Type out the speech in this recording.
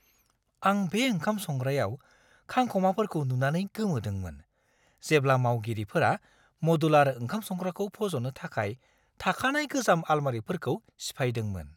आं बे ओंखाम-संग्रायाव खांखमाफोरखौ नुनानै गोमोदोंमोन, जेब्ला मावगिरिफोरा मदुलार ओंखाम-संग्राखौ फज'नो थाखाय थाखानाय गोजाम आलमारिफोरखौ सिफायदोंमोन!